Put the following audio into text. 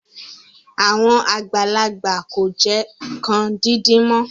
Àwọn àgbàlagbà kò jẹ nǹkan díndín mọ́